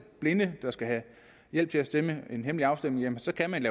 blinde der skal have hjælp til at stemme ved en hemmelig afstemning så kan man